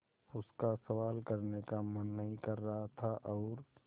उसका सवाल करने का मन नहीं कर रहा था और